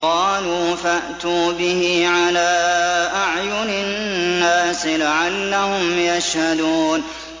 قَالُوا فَأْتُوا بِهِ عَلَىٰ أَعْيُنِ النَّاسِ لَعَلَّهُمْ يَشْهَدُونَ